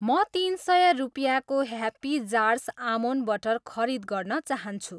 म तिन सय रुपियाँको ह्याप्पी जार्स आमोन्ड बटर खरिद गर्न चाहान्छु